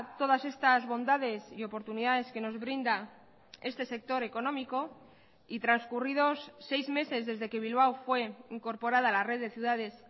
todas estas bondades y oportunidades que nos brinda este sector económico y transcurridos seis meses desde que bilbao fue incorporada a la red de ciudades